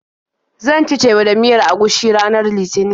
Zan ci teba da miyar agushi ranar Litinin.